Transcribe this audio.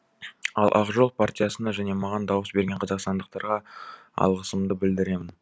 ал ақ жол партиясына және маған дауыс берген қазақстандықтарға алғысымды білдіремін